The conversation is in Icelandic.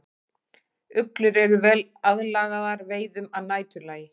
Uglur eru vel aðlagaðar veiðum að næturlagi.